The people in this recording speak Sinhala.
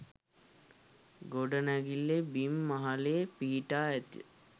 ගොඩනැඟිල්ලේ බිම් මහලේ පිහිටා ඇති